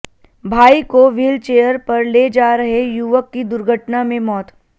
भाई को व्हीलचेयर पर ले जा रहे युवक की दुर्घटना में मौत